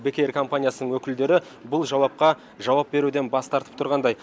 бек эйр компаниясының өкілдері бұл жауапқа жауап беруден бас тартып тұрғандай